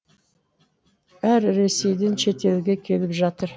бәрі ресейден шетелге келіп жатыр